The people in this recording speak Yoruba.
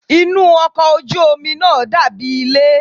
Inú ọkọ̀ ojú omi náà dàbí ilé.